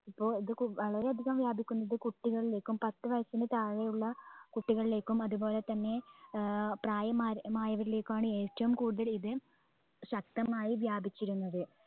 അപ്പൊ ഇത് കു വളരെയധികംവ്യാപിക്കുന്നത് കുട്ടികളിലേക്കും പത്ത്‌ വയസ്സിന് താഴെയുള്ള കുട്ടികളിലേക്കും അതുപോലെതന്നെ ഏർ പ്രായമാർ മായവരിലേക്കുമാണ് ഏറ്റവും കൂടുതൽ ഇത് ശക്തമായി വ്യാപിച്ചിരുന്നത്.